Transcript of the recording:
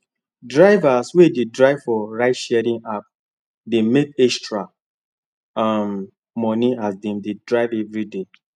drivers wey dey drive for ride sharing app dey make extra um money as dem dey drive everyday